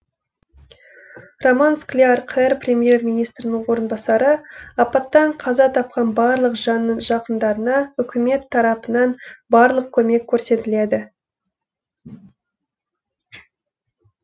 роман скляр қр премьер министрінің орынбасары апаттан қаза тапқан барлық жанның жақындарына үкімет тарапынан барлық көмек көрсетіледі